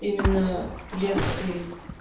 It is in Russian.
именно лекции